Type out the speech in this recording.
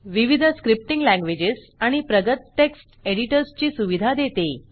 विविध scripting languages आणि प्रगत टेक्स्ट एडिटर्सची सुविधा देते